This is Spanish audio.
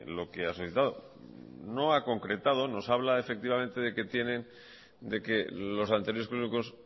lo que ha suscitado no ha concretado nos habla de que los anteriores currículos